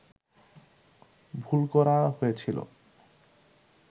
ভুল করা হয়েছিল